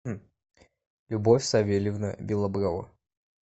любовь савельевна белоброва